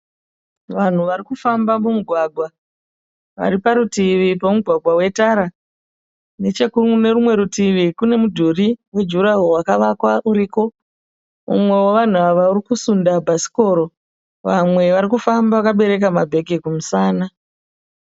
Vanhu vari kufamba mumugwagwa, vari parutivi pemugwagwa wetara. Nechekune rumwe rutivi kune mudhuri wejurahoro wakavakwa uriko, umwe wevanhu ava uri kusunda bhasikoro vamwe vari kufamba vakabereka mabhegi kumusana.